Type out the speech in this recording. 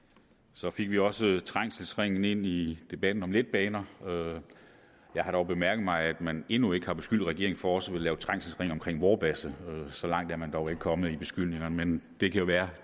så fik vi også trængselsringen ind i debatten om letbaner jeg har dog bemærket at man endnu ikke har beskyldt regeringen for også at ville lave trængselsring omkring vorbasse så langt er man dog ikke kommet i beskyldningerne men det kan jo være